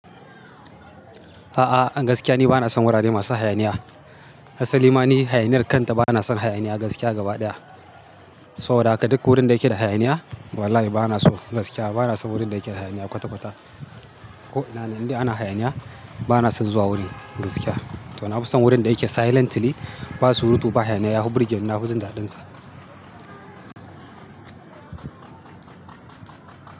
A'a, a gaskiya ni bana son wurare masu hayaniya. Hasa limani hayaniyar kanta bana son hayaniya gaskiya gaba ɗaya. Saboda haka duk wurin da yake da hayaniya wallahi bana so gaskiya bana son wurin da yake da hayaniya kwata kwata. Ko ina ne, indai ana hayaniya bana son zuwa wurin gaskiya. To na fi son wurin da yake silently, basu rubutu ba hayaniya yahu birge nna huzi daɗinsa.